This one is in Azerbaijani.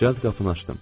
Cəld qapını açdım.